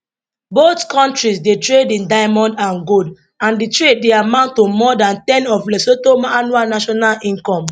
both kontris dey trade in diamond and gold and di trade dey amount to more dan ten of lesotho annual national income